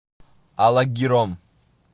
алагиром